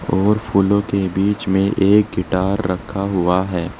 और फूलों के बीच में एक गिटार रखा हुआ है।